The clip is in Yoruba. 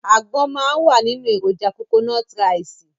Àgbọn máa wà nínú èròjà kokonọ́tí raìsì.